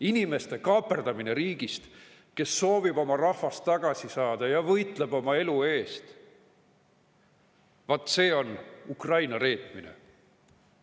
Inimeste kaaperdamine riigist, kes soovib oma rahvast tagasi saada ja võitleb oma elu eest – vaat see on Ukraina reetmine.